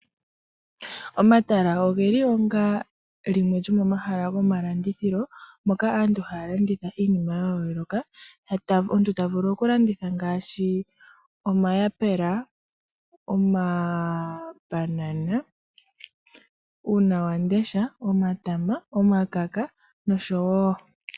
Omatala ogeli onga limwe lyomomahala ngoka gomalandithilo, moka aantu haya landitha iinima ya yooloka. Omuntu tavulu okuku landitha iinima ngaashi, omayapula, omambanana, uuna wamundesha, omatama, omakaka, nosho tuu.